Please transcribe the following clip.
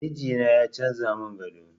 Mijina ya canza mun gado